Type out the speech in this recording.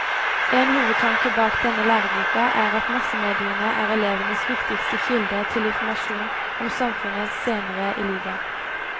En hovedtanke bak denne læreboka er at massemediene er elevenes viktigste kilde til informasjon om samfunnet senere i livet.